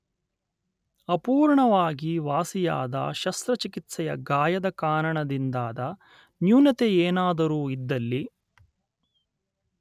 ಅಪೂರ್ಣವಾಗಿ ವಾಸಿಯಾದ ಶಸ್ತ್ರಚಿಕಿತ್ಸೆಯ ಗಾಯದ ಕಾರಣದಿಂದಾದ ನ್ಯೂನತೆಯೇನಾದರೂ ಇದ್ದಲ್ಲಿ